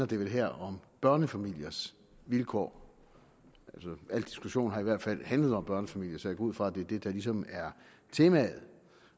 det vel her om børnefamiliers vilkår al diskussion har i hvert fald handlet om børnefamilier så jeg går ud fra at det er det der ligesom er temaet